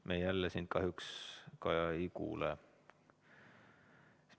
Me jälle sind, Kaja, kahjuks ei kuule.